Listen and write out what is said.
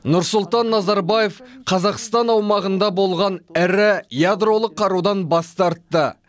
нұрсұлтан назарбаев қазақстан аумағында болған ірі ядролық қарудан бас тартты